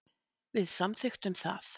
Við samþykktum það.